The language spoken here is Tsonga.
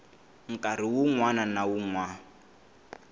nkarhi wun wana na wun